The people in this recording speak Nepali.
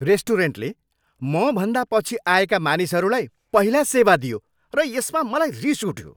रेस्टुरेन्टले मभन्दा पछि आएका मानिसहरूलाई पहिला सेवा दियो र यसमा मलाई रिस उठ्यो।